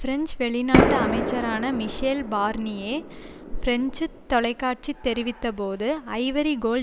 French வெளிநாட்டு அமைச்சரான Michel Barnier பிரெஞ்சு தொலைக்காட்சி தெரிவித்தபோது ஐவரி கோல்